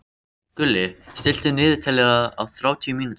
Gulli, stilltu niðurteljara á þrjátíu mínútur.